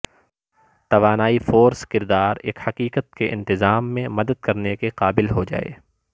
توانائی فورس کردار ایک حقیقت کے انتظام میں مدد کرنے کے قابل ہو جائے